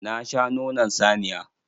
Na sha nonon saniya.